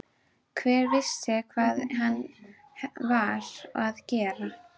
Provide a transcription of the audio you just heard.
Hver vissi hvað hann var að gera.